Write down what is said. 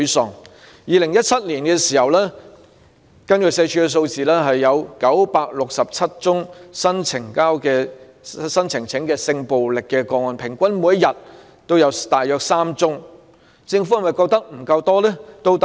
社會福利署2017年的數字顯示，當年有967宗新呈報的性暴力個案，平均每天3宗，政府是否仍覺得不夠多呢？